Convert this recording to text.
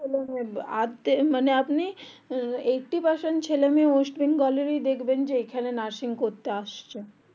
মানে আপনি eighty percent ছেলে মেয়ে দেখবেন আপনি ওয়েস্ট বেঙ্গল এরই এখনই নার্সিং করতে আসছে